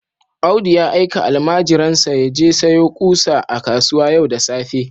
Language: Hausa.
Audu ya aika almajirinsa ya je sayo ƙusa a kasuwa yau da safe